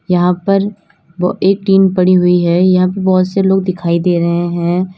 यहां पर एक टीन पड़ी हुई है यहां पे बहोत से लोग दिखाई दे रहे हैं।